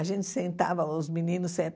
A gente sentava, os meninos